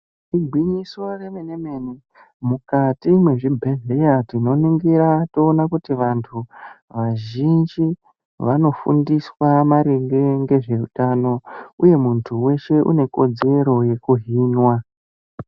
Igwinyiso remene-mene, mukati mwezvibhedhleya , tinoningira toona kuti vantu, vazhinji vanofundiswa maringe ngezveutano, uye muntu weshe une kodzero yekuhinwa.